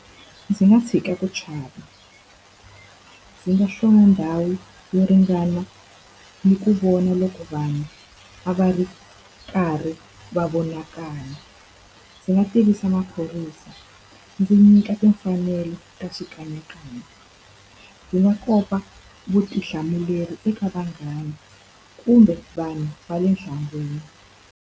Ndzi nga tshika ku chava, ndzi nga ndhawu yo ringana ni ku vona loko vanhu a va ri karhi va vonakala. Ndzi nga va tivisa maphorisa, ndzi nyika timfanelo ta xikanyakanya. Ndzi nga kopa vutihlamuleri eka vanghana, kumbe vanhu va le .